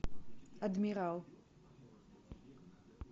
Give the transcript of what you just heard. адмирал